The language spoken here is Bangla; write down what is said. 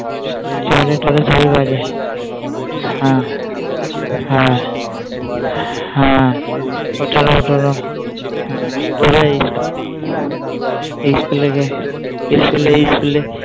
আবার বায়না করবে এটা নেবো সেটা নেবো